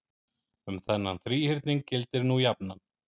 um þennan þríhyrning gildir nú jafnan